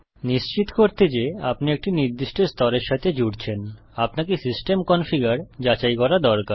নিশ্চিত করতে যে আপনি একটি নির্দিষ্ট স্তরের সাথে জুড়ছেন আপনাকে সিস্টেম কনফিগার যাচাই করা দরকার